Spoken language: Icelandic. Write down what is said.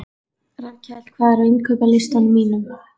Rafnkell, hvað er á innkaupalistanum mínum?